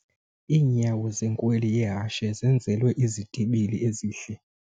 Iinyawo zenkweli yehashe zenzelwe izitibili ezihle.